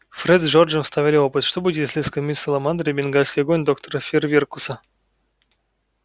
фред с джорджем ставили опыт что будет если скормить саламандре бенгальский огонь доктора фейерверкуса